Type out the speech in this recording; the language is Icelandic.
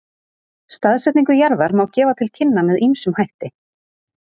Staðsetningu jarðar má gefa til kynna með ýmsum hætti.